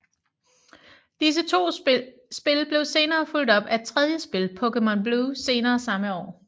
Disse to spil blev senere fulgt op af et tredje spil Pokemon Blue senere samme år